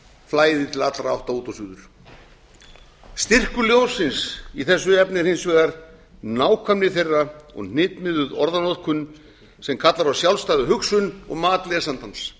flæði til allra átta og út og suður styrkur ljóðsins í þessu efni er hins vegar nákvæmni þeirra og hnitmiðuð orðanotkun sem kallar á sjálfstæða hugsun og mat lesandans